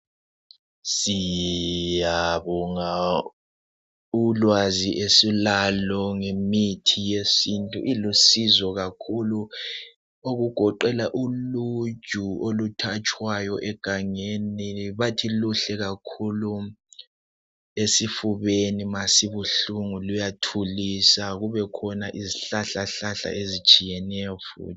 Siyabonga ulwazi esilalo ngemithi yesintu ilusizo kakhulu okugoqela uluju oluthatshwayo egangeni bathi luhle kakhulu esifubeni ma sibuhlungu luyathulisa kube khona izihlahla ezitshiyeneyo njalo.